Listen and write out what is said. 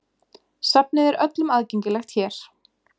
Safnið er öllum aðgengilegt hér.